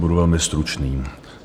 Budu velmi stručný.